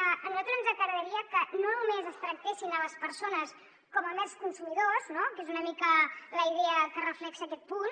a nosaltres ens agradaria que no només es tractessin les persones com a mers consumidors no que és una mica la idea que reflecteix aquest punt